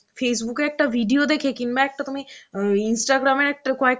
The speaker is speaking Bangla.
Facebook এ একটা video দেখে কিংবা একটা তুমি অ্যাঁ Instagram এর একটা কয়েক